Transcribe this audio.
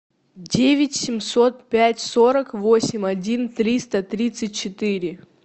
девять семьсот пять сорок восемь один триста тридцать четыре